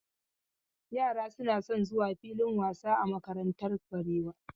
Yara suna son zuwa filin wasa a makarantar Barewa.